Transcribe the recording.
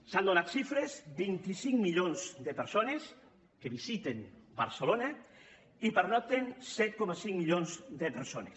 se n’han donat xifres vint cinc milions de persones que visiten barcelona i hi pernocten set coma cinc milions de persones